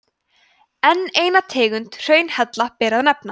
enn eina tegund hraunhella ber að nefna